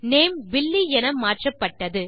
name Billy என மாற்றப்பட்டது